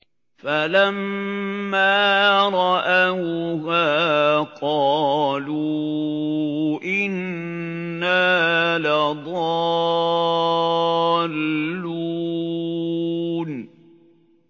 فَلَمَّا رَأَوْهَا قَالُوا إِنَّا لَضَالُّونَ